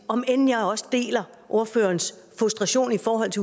om end jeg også deler ordførerens frustration og